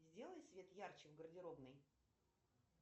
сделай свет ярче в гардеробной